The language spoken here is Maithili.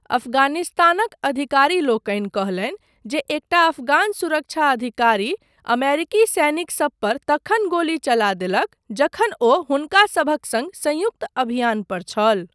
अफगानिस्तानक अधिकारीलोकनि कहलनि जे एकटा अफगान सुरक्षा अधिकारी अमेरिकी सैनिकसब पर तखन गोली चला देलक जखन ओ हुनका सभक सङ्ग संयुक्त अभियान पर छल।।